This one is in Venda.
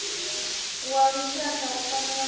wa lushaka u fanela u